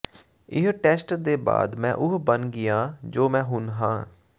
ਇਸ ਟੈਸਟ ਦੇ ਬਾਅਦ ਮੈਂ ਉਹ ਬਣ ਗਿਆ ਜੋ ਮੈਂ ਹੁਣ ਹਾਂ